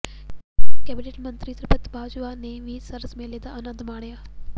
cabinet ਮੰਤਰੀ ਤ੍ਰਿਪਤਬਾਜਵਾ ਨੇ ਵੀ ਸਰਸ ਮੇਲੇ ਦਾ ਅਨੰਦ ਮਾਣਿਆ